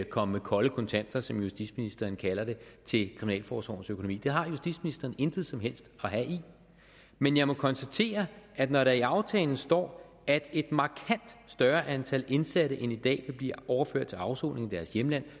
komme med kolde kontanter som justitsministeren kalder det til kriminalforsorgens økonomi det har justitsministeren intet som helst at have i men jeg må konstatere at når der i aftalen står at et markant større antal indsatte end i dag vil blive overført til afsoning i deres hjemland